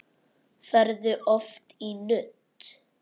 Ferðu oft í nudd?